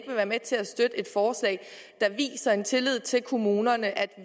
være med til at støtte et forslag der viser tillid til kommunerne